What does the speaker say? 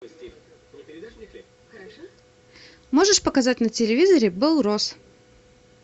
можешь показать на телевизоре белрос